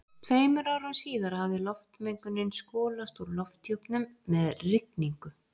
Tveimur árum síðar hafði loftmengunin skolast úr lofthjúpnum með rigningu.